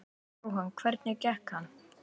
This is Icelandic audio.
Jóhann: Hvernig gekk hann?